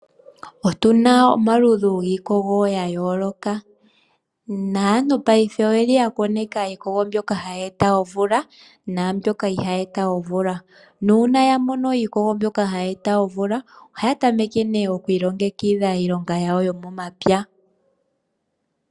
Otuna omaludhi giikogo ya yooloka, naantu paife oye li ya koneka iikogo mbyono hayi e ta omvula naambyoka ihaayi e ta omvula. Uuna ya mono iikogo mbyoka hayi e ta omvula, ohaya tameke oku ilongekidhila iilonga yomomapya.